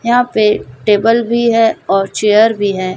यहां पे टेबल भी है और चेयर भी है।